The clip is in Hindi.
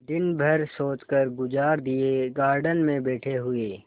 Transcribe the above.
दिन भर सोचकर गुजार दिएगार्डन में बैठे हुए